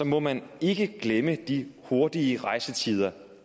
må man ikke glemme de hurtigere rejsetider